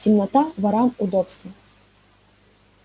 темнота ворам удобство